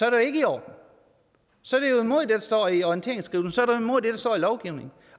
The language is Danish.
jo ikke i orden så er det jo imod det der står i orienteringsskrivelsen jo imod det der står i lovgivningen